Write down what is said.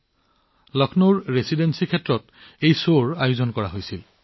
এই drone show লক্ষ্ণৌৰ residency এলেকাত অনুষ্ঠিত হৈছিল